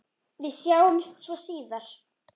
Við sjáumst svo síðar.